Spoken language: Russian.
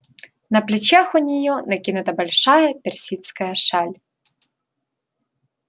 на плечах у нее накинута большая персидская шаль